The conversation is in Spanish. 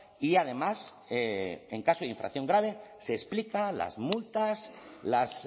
y además en caso de infracción grave se explica las multas las